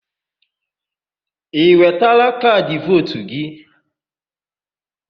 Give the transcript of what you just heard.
Ị wetala kaadị vootu gị?